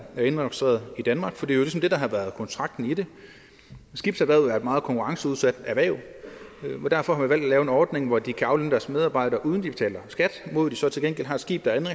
indregistreret i danmark for det er jo ligesom det der har været kontrakten i det skibserhvervet er et meget konkurrenceudsat erhverv og derfor har man valgt at lave en ordning hvor de kan aflønne deres medarbejdere uden at de betaler skat mod at de så til gengæld har et skib der er